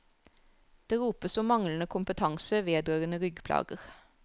Det ropes om manglende kompetanse vedrørende ryggplager.